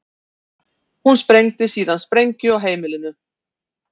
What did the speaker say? Hún sprengdi síðan sprengju á heimilinu